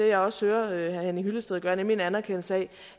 jeg også hører herre henning hyllested gøre nemlig en anerkendelse af